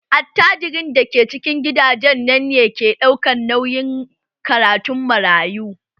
Attajirin da ke cikin gidajen nan ne ke ɗaukar nauyin karatun marayu